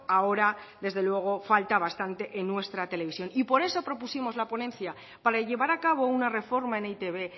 ahora desde luego falta bastante en nuestra televisión y por eso propusimos la ponencia para llevar a cabo una reforma en e i te be